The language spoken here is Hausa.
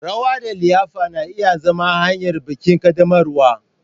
Rawa da liyafa na iya zama hanyar bikin ƙaddamarwa.